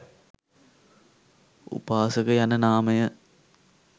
උපාසක යන නාමය